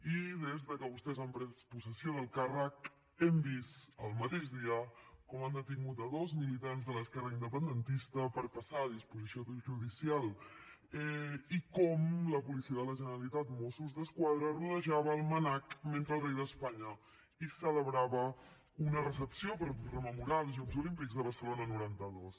i des de que vostès han pres possessió del càrrec hem vist el mateix dia com han detingut dos militants de l’esquerra independentista per passar a disposició judicial i com la policia de la generalitat mossos d’esquadra rodejava el mnac mentre el rei d’espanya hi celebrava una recepció per rememorar els jocs olímpics de barcelona noranta dos